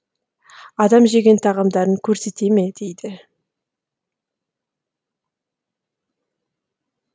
адам жеген тағамдарын көрсете ме дейді